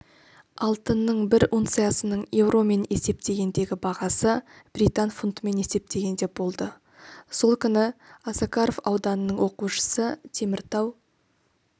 алтынның бір унциясының еуромен есептегендегі бағасы британ фунтымен есептегенде болды сол күні осакаров ауданының оқушысы теміртау